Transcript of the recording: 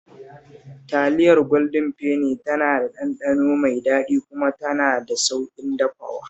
Taliyar Gwaldin Feni tana da ɗanɗano mai daɗi kuma tana da sauƙin dafawa